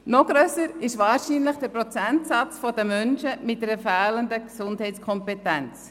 Noch grösser ist wahrscheinlich der Prozentsatz der Menschen mit einer fehlenden Gesundheitskompetenz.